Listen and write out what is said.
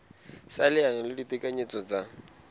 sa leano la ditekanyetso tsa